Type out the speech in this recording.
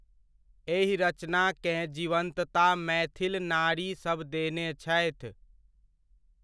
एहि रचनाकेँ जिवन्तता मैथिल नारी सब देने छथि।